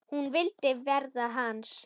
Hún vildi verða hans.